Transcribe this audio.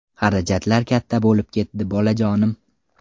Xarajatlar katta bo‘lib ketdi, bolajonim.